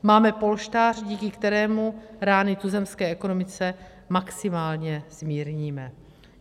Máme polštář, díky kterému rány tuzemské ekonomice maximálně zmírníme.